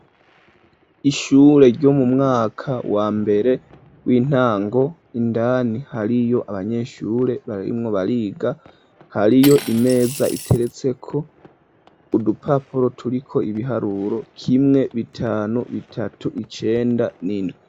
Ishure ryo mu mwaka wa mbere w'intango indani hariyo abanyeshure barimwo bariga hariyo imeza iteretse ko udupapuro turiko ibiharuro kimwe, bitanu, bitatu, icenda n'indwi.